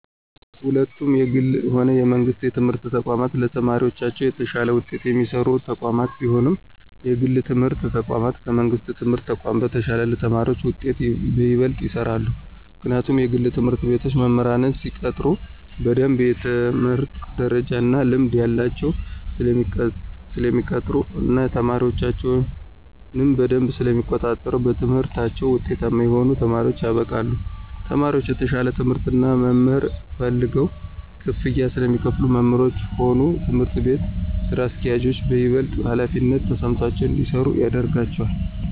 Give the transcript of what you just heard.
ሁለቱም የግልም ሆነ የመንግስት የትምህርት ተቋማት ለተማሪዎቻቸው የተሻለ ውጤት የሚሰሩ ተቋማት ቢሆኑም የግል የትምህርት ተቋማት ከመንግሥት የትምህርት ተቋም በተሻለ ለተማሪዎቻቸው ውጤት በይበልጥ ይሰራሉ። ምክንያቱም የግል ትምህርት ቤቶች መምህራንን ሲቀጥሩ በደምብ የትምህርት ደረጃ እና ልምድ ያላቸውን ስለሚቀጥሩ እና ተማሪዎቻቸውንም በደምብ ስለሚቆጣጠሩ በትምህርታቸው ውጤታማ የሆኑ ተማሪዎችን ያበቃሉ። ተማሪዎቹም የተሻለ ትምህርት እና መምህር ፈልገው ክፍያ ስለሚከፍሉ መምህሮቹም ሆኑ የትምህርት ቤቱ ስራ አስኪያጆች በይበልጥ ሀላፊነት ተሰምቷቸው እንዲሰሩ ያደርጋቸዋል።